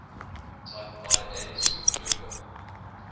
type ia supernovae